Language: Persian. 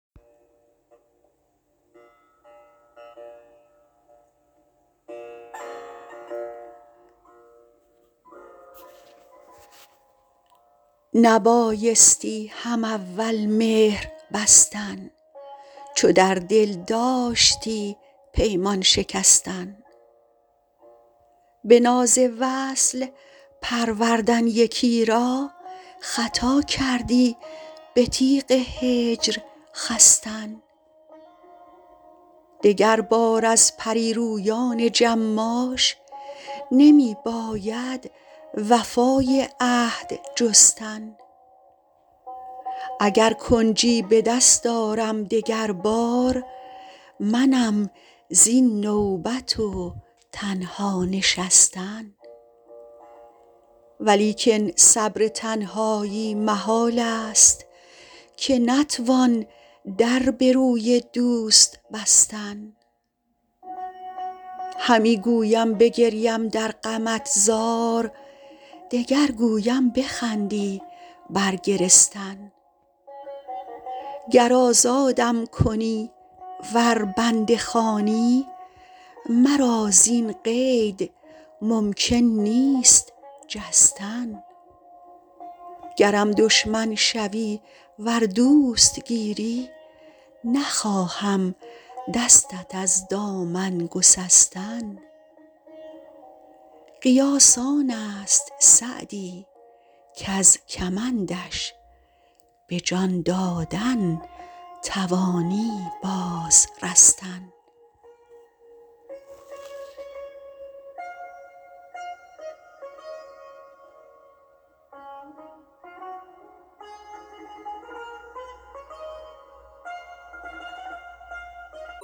نبایستی هم اول مهر بستن چو در دل داشتی پیمان شکستن به ناز وصل پروردن یکی را خطا کردی به تیغ هجر خستن دگربار از پری رویان جماش نمی باید وفای عهد جستن اگر کنجی به دست آرم دگر بار منم زین نوبت و تنها نشستن ولیکن صبر تنهایی محال است که نتوان در به روی دوست بستن همی گویم بگریم در غمت زار دگر گویم بخندی بر گرستن گر آزادم کنی ور بنده خوانی مرا زین قید ممکن نیست جستن گرم دشمن شوی ور دوست گیری نخواهم دستت از دامن گسستن قیاس آن است سعدی کز کمندش به جان دادن توانی باز رستن